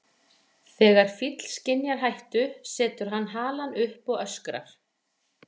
Þegar fíll skynjar hættu setur hann halann upp og öskrar.